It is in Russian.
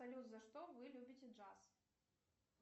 салют за что вы любите джаз